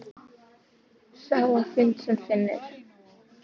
Sá á fund sem finnur!